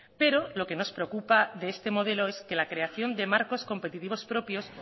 pero lo que nos preocupa de este modelo es que la creación de marcos competitivos propios